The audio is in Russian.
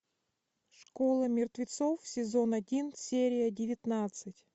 школа мертвецов сезон один серия девятнадцать